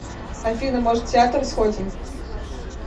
афина может в театр сходим